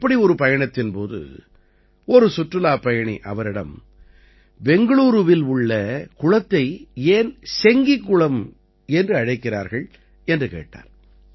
அப்படி ஒரு பயணத்தின்போது ஒரு சுற்றுலாப் பயணி அவரிடம் பெங்களூருவில் உள்ள குளத்தை ஏன் செங்கி குளம் என்று அழைக்கிறார்கள் என்று கேட்டார்